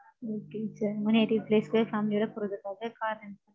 Okay Sir. உங்க native place போய் family ஓட போறதுக்காக car வேணும்?